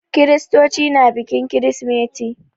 Kiristoci na bikin kirsimeti.